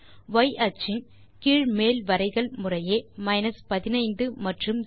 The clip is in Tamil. y அச்சின் கீழ் மேல் வரைகள் முறையே 15 மற்றும் 0